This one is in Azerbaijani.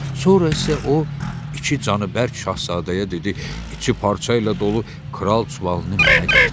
Sonra isə o iki canıbərk şahzadəyə dedi: İçi parçayla dolu kral çuvalını mənə gətirin.